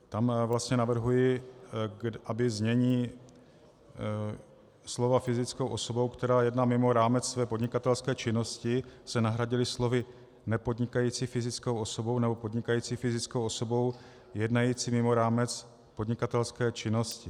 Tam vlastně navrhuji, aby znění slova "fyzickou osobou, která jedná mimo rámec své podnikatelské činnosti" se nahradila slovy "nepodnikající fyzickou osobou nebo podnikající fyzickou osobou jednající mimo rámec podnikatelské činnosti".